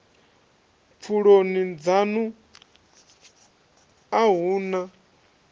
pfuloni dzanu a hu na